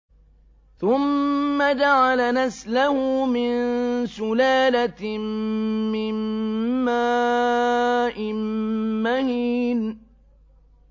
ثُمَّ جَعَلَ نَسْلَهُ مِن سُلَالَةٍ مِّن مَّاءٍ مَّهِينٍ